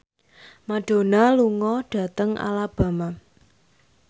Madonna lunga dhateng Alabama